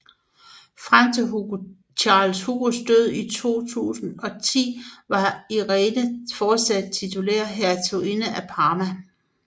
Frem til Carlos Hugos død i 2010 var Irene fortsat titulær hertuginde af Parma